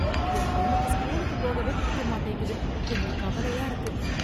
என் பொண்ணுக்கு ஸ்கூலுக்கு போகவே பிடிக்க மாட்டேங்குது. எனக்கு கவலையா இருக்கு.